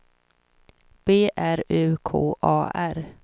B R U K A R